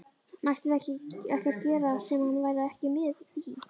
Mættum við ekkert gera sem hann væri ekki með í?